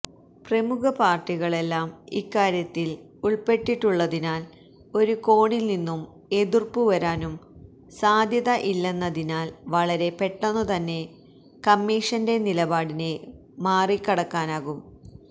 പ്രമുഖ പാർട്ടികളെല്ലാം ഇക്കാര്യത്തിൽ ഉൾപ്പെട്ടിട്ടുള്ളതിനാൽ ഒരു കോണിൽ നിന്നും എതിർപ്പുവരാനും സാധ്യത ഇല്ലെന്നതിനാൽ വളരെ പെട്ടെന്നുതന്നെ കമ്മീഷന്റെ നിലപാടിനെ മറികടക്കാനാകും